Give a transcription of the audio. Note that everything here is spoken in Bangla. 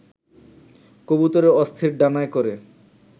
কবুতরের অস্থির ডানায় করে